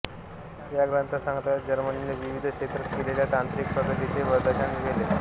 या संग्रहालयात जर्मनीने विविध क्षेत्रात केलेल्या तांत्रिक प्रगतीचे प्रदर्शन आहे